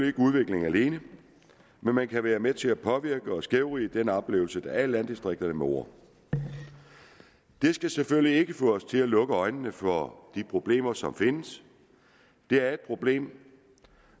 ikke udvikling alene men man kan være med til at påvirke og skævvride den oplevelse der er af landdistrikterne med ord det skal selvfølgelig ikke få os til at lukke øjnene for de problemer som findes det er et problem